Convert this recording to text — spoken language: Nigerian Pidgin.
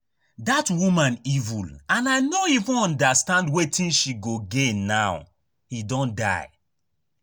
Dat woman evil and I no even understand wetin she go gain now he don die